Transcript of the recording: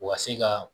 U ka se ka